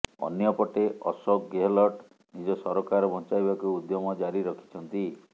ଅନ୍ୟପଟେ ଅଶୋକ ଗେହଲଟ୍ ନିଜ ସରକାର ବଞ୍ଚାଇବାକୁ ଉଦ୍ୟମ ଜାରି ରଖିଛନ୍ତି